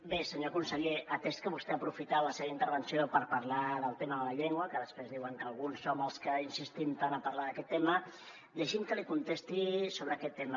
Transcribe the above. bé senyor conseller atès que vostè ha aprofitat la seva intervenció per parlar del tema de la llengua que després diuen que alguns som els que insistim tant a parlar d’aquest tema deixi’m que li contesti sobre aquest tema